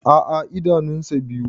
A'a idanun sa biyu.